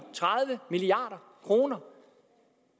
og jo